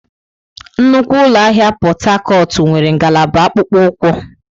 Nnukwu ụlọ ahịa Pot Tarcot nwere ngalaba akpụkpọ ụkwụ.